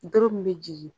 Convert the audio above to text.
Doro min bɛ jigin